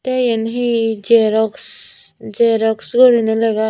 te iyen he jerox jerox goriney lega agg.